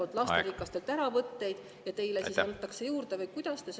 … lasterikastelt peredelt ära ja teistele siis antakse juurde?